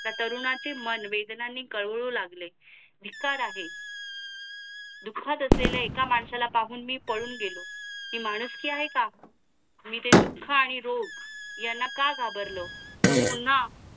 त्या तरुणाचे मन वेदनाणे गळू लागले. धिक्कार आहे दुःखात असलेल्या एका माणसाला पाहून मी पळून गेलो. ती माणुसकी आहे का? आणि ते दुःख आणि रोग याना का घाबरलं तो पुन्हा